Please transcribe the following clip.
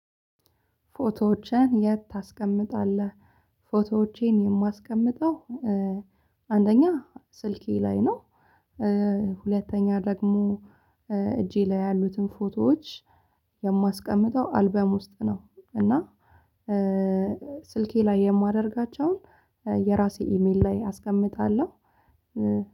"ፎቶዎችህን የት ታስቀምጣለህ?" ፎቶዎቼን የማስቀምጠው አንደኛ ስልኬ ላይ ነው። ሁለተኛ ደግሞ እጄ ላይ ያሉትን ፎቶዎች የማስቀምጠው አልበም ውስጥ ነው፤ እና ስልኬ ላይ የማደርጋቸውን የራሴ ኢሜል ላይ አስቀምጣለሁ።